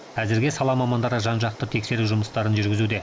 әзірге сала мамандары жан жақты тексеру жұмыстарын жүргізуде